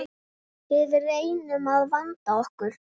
Við reynum að vanda okkur.